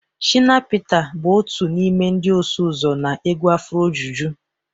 Shina Peters bụ otu n'ime ndị ọsụ ụzọ na egwu afrojuju